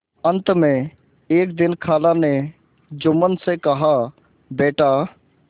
अंत में एक दिन खाला ने जुम्मन से कहाबेटा